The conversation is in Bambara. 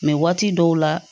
waati dɔw la